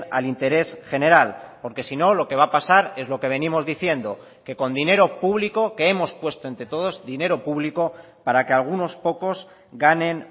al interés general porque si no lo que va a pasar es lo que venimos diciendo que con dinero público que hemos puesto entre todos dinero público para que algunos pocos ganen